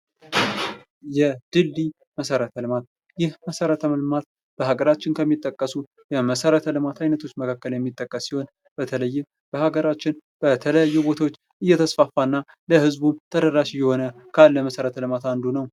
የድልድይ መሰረተ ልማት ይህ መሰረተ ልማት በአገራችን ከሚጠቀሱ የመሰረተ ልማት አይነቶች መካከል የሚጠቀስ ሲሆን በተለይም በሀገራችን በተለያዩ ቦታዎች እየተስፋፋና ለህዝቡ ተደራሽ የሆነ ካለ መሠረተ ልማት አንዱ ነው ።